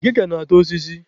Akịka na-ata osisi